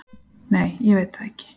Nei, ég veit það ekki